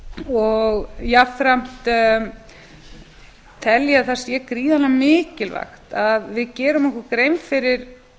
og jafnframt tel ég að það sé gríðarlega mikilvægt að við gerum okkur grein fyrir